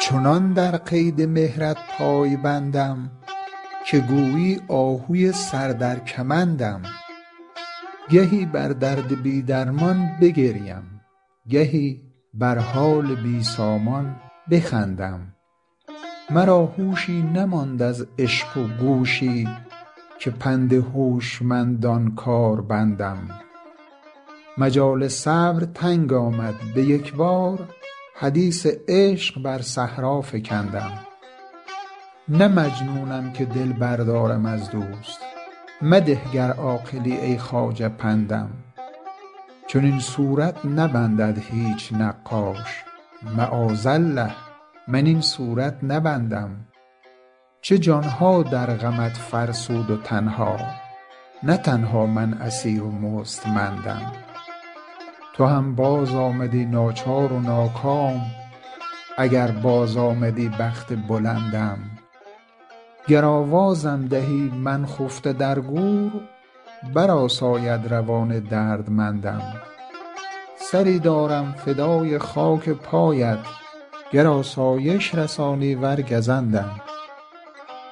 چنان در قید مهرت پای بندم که گویی آهوی سر در کمندم گهی بر درد بی درمان بگریم گهی بر حال بی سامان بخندم مرا هوشی نماند از عشق و گوشی که پند هوشمندان کار بندم مجال صبر تنگ آمد به یک بار حدیث عشق بر صحرا فکندم نه مجنونم که دل بردارم از دوست مده گر عاقلی ای خواجه پندم چنین صورت نبندد هیچ نقاش معاذالله من این صورت نبندم چه جان ها در غمت فرسود و تن ها نه تنها من اسیر و مستمندم تو هم بازآمدی ناچار و ناکام اگر بازآمدی بخت بلندم گر آوازم دهی من خفته در گور برآساید روان دردمندم سری دارم فدای خاک پایت گر آسایش رسانی ور گزندم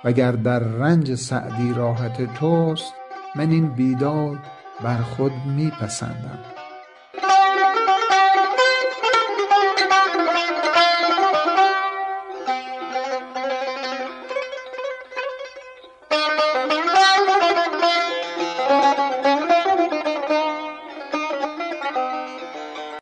و گر در رنج سعدی راحت توست من این بیداد بر خود می پسندم